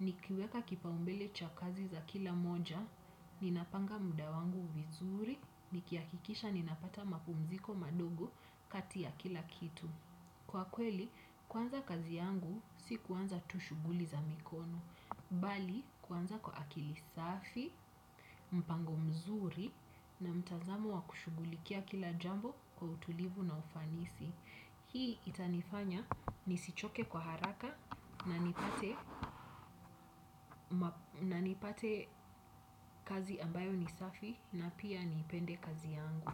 nikiweka kipaumbele chakazi za kila moja, ninapanga muda wangu vizuri, nikihakikisha ninapata mapumziko madogo kati ya kila kitu. Kwa kweli, kwanza kazi yangu si kwanza tu shughuli za mikono, bali kwanza kwa akili safi, mpango mzuri na mtazamo wa kushughulikia kila jambo kwa utulivu na ufanisi. Hii itanifanya nisichoke kwa haraka na nikute na nipate kazi ambayo ni safi na pia niipende kazi yangu.